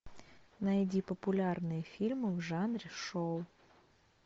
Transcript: найди популярные фильмы в жанре шоу